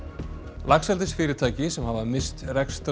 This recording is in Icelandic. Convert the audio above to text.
laxeldisfyrirtæki sem hafa misst rekstrar